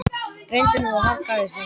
Reyndu nú að harka af þér í þetta skipti.